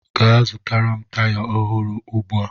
Gaa zụtara m taya ọhụrụ ugbu a!